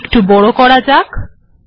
এটিকে বড় করা যাক